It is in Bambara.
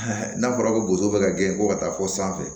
n'a fɔra ko boso bɛ ka gɛn ko ka taa fo sanfɛ